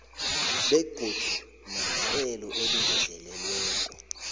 begodu nerhelo elingezelelweko